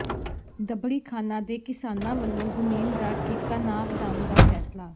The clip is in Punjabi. ਦਬੜ੍ਹੀਖਾਨਾ ਦੇ ਕਿਸਾਨਾਂ ਵੱਲੋਂ ਜ਼ਮੀਨ ਦਾ ਠੇਕਾ ਨਾ ਵਧਾਉਣ ਦਾ ਫ਼ੈਸਲਾ